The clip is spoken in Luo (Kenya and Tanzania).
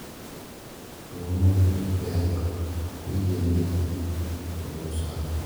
Chuo ma mondgi pek ok oyienegi konyo sa kunyo.